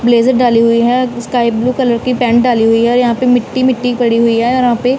blazer डाली हुई है स्काई ब्लू कलर की पैंट डाली हुई है और यहां पे मिट्टी मिट्टी पड़ी हुई है और यहां पे--